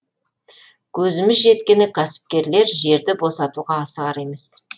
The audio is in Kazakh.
көзіміз жеткені кәсіпкерлер жерді босатуға асығар емес